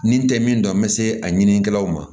Nin tɛ min dɔn n bɛ se a ɲinikɛlaw ma